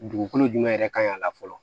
Dugukolo jumɛn yɛrɛ kan ka la fɔlɔ